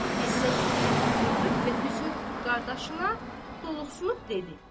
Fizə dikəlib oturdu və üzünü tutub qardaşına doluqsulub dedi: